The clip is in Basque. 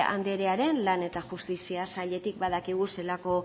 anderearen lan eta justizia sailetik badakigu zelako